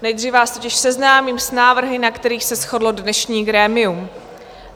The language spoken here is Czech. Nejdříve vás totiž seznámím s návrhy, na kterých se shodlo dnešní grémium.